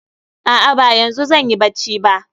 A'a ba yanzu zanyi bacci ba